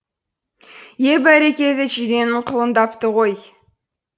е бәрекелді жиренің құлындапты ғой